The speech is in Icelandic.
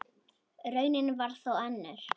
Raunin varð þó önnur.